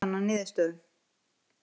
Svo komst hann að niðurstöðu!